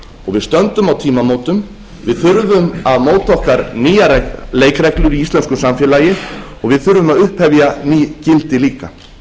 við stöndum á tímamótum við þurfum að móta okkur nýjar leikreglur í íslensku samfélagi og við þurfum að upphefja ný gildi líka